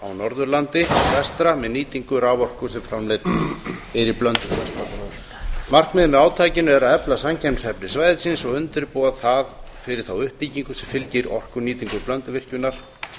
norðurlandi vestra með nýtingu raforku sem framleidd er í blönduvirkjun markmiðið með átakinu er að efla samkeppnishæfni svæðisins og undirbúa það fyrir þá uppbyggingu sem fylgir orkunýtingu blönduvirkjunar